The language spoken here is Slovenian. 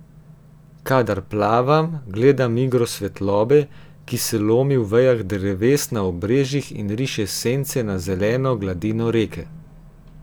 Kadar plavam, gledam igro svetlobe, ki se lomi v vejah dreves na obrežjih in riše sence na zeleno gladino reke.